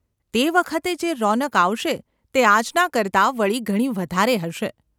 તે વખતે જે રોનક આવશે તે આજના કરતાં વળી ઘણી વધારે હશે.